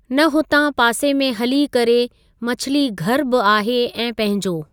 न हुतां पासे में हली करे मछलीघर बि आहे ऐं पंहिंजो।